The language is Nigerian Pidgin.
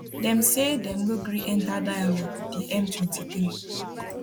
dem say dem no gree enta dialogue wit di m23